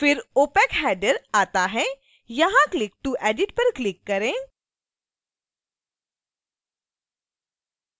फिर opacheader आता है यहां click to edit पर क्लिक करें